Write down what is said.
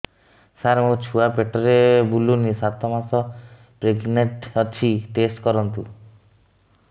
ସାର ମୋର ଛୁଆ ପେଟରେ ବୁଲୁନି ସାତ ମାସ ପ୍ରେଗନାଂଟ ଅଛି ଟେଷ୍ଟ କରନ୍ତୁ